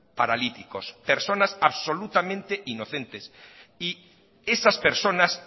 paralíticos personas absolutamente inocentes y esas personas